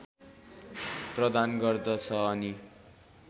प्रदान गर्दछ अनि